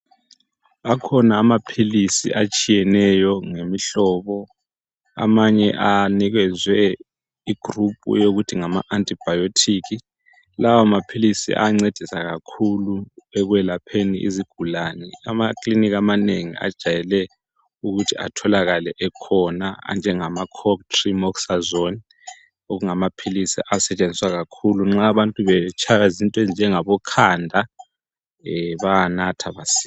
Akhona amaphilisi atshiyeneyo ngemihlobo .Amanye anikezwe igroup eyokuthi ngama antibiotic .Lawo maphilisi ayancedisa kakhulu ekwelapheni izigulane. Ama klinika amanengi ajwayele ukuthi etholakale ekhona anjengama cotrimoxazole okungamaphilisi asetshenziswa kakhulu nxa abantu betshaywa zinto ezinjengabo khanda bayawanatha masinya.